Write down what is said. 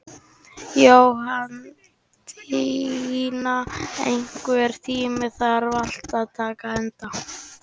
Jóhanndína, einhvern tímann þarf allt að taka enda.